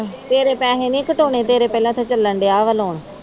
ਤੇਰੇ ਪੈਸੇ ਨੀ ਘਟਾਉਣੇ, ਤੇਰਾ ਪਹਿਲਾਂ ਦਾ ਚਲਣ ਦੀਆਂ ਆ ਵਾਲਾ ਲੋਨ।